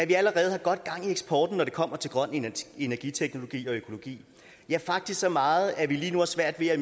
vi allerede har godt gang i eksporten når det kommer til grøn energiteknologi og økologi ja faktisk så meget at vi lige nu har svært ved at